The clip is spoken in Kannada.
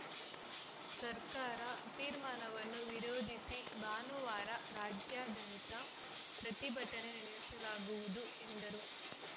ಸರ್ಕಾರ ತೀರ್ಮಾನವನ್ನು ವಿರೋಧಿಸಿ ಭಾನುವಾರ ರಾಜ್ಯಾದ್ಯಂತ ಪ್ರತಿಭಟನೆ ನಡೆಸಲಾಗುವುದು ಎಂದರು